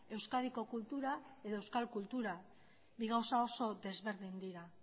euskadiko kultura edo euskal kultura bi gauza oso desberdin dira